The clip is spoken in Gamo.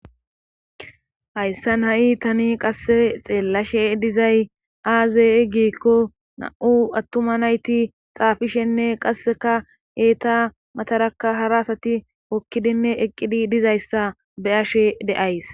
Hayssan ha7i tani qasse xeellashe dizay aaze eggikko na7u attuma nayti xaafishenne qasseka eeta mataraka harasati okkidinne eqqidi dizayssa beyashe de'ays.